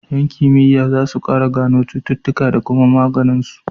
Yan kimiya zasu kara gano cututuƙa da kuma maganin su